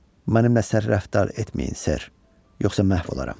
Mənimlə sərt rəftar etməyin, ser, yoxsa məhv olaram.